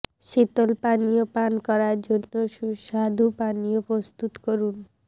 শীতল পানীয় পান করার জন্য সুস্বাদু পানীয় প্রস্তুত করুন